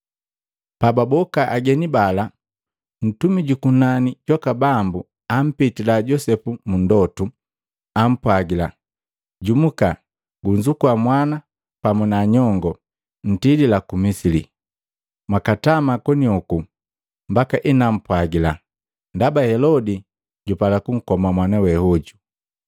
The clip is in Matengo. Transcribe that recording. Pababoka ageni bala, ntumi juku kunani jwaka Bambu ampitila Josepu mu ndotu, ampwagila, “Jumuka! Gunzukua mwana pamu na nyongoo, ntilila ku Misili. Mwakatama konioku mbaka enampwagila, ndaba Helodi jupala kunkoma mwana weajo.”